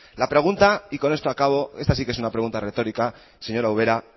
la pregunta y con esto acabo esta sí que es una pregunta retórica señora ubera